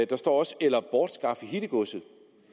der står også eller bortskaffe hittegodset